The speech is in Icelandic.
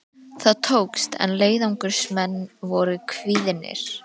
Það tókst, en leiðangursmenn voru kvíðnir.